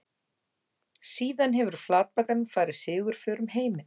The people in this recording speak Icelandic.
Síðan hefur flatbakan farið sigurför um heiminn.